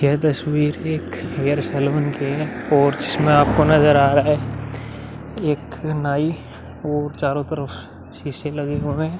यह तस्वीर एक हेयर सलून की है और जिसमे आपको नजर आ रहा है। एक नाई और चारो तरफ शीशे लगे हुए हैं।